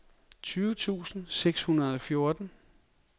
tyve tusind seks hundrede og fjorten